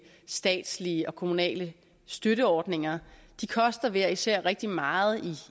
statslige og kommunale støtteordninger de koster hver især rigtig meget